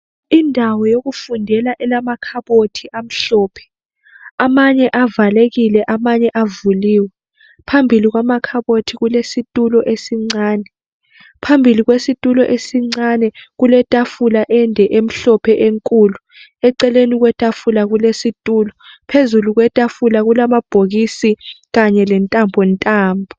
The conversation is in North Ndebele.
Indawo yokufundela elamakhabothi amhlophe amanye avalekile amanye avuliwe phambili kwamakhabothi kulesitulo esincane, phambili kwesitulo esincane kuletafula ende emhlophe enkulu eceleni kwetafula kulesitulo phezulu kwetafula kulamabhokisi kanye lentambontambo.